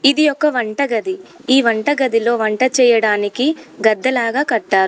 ఇది ఒక వంటగది ఈ వంట గదిలో వంట చేయడానికి గద్దలాగా కట్టారు.